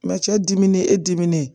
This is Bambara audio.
cɛ diminen e diminen